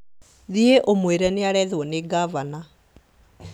Thiĩ ũmwĩre nĩarethwo nĩ ngavana